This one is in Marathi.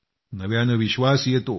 नव्यानं विश्वास येतो